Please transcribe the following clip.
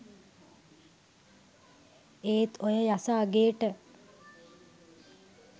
ඒත් ඔය යස අගේට